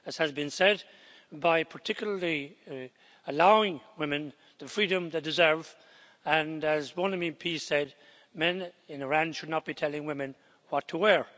As has been said, by particularly allowing women the freedom they deserve, and as one MEP said, men in Iran should not be telling women what to wear.